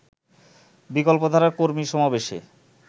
বিকল্পধারার কর্মী সমাবেশে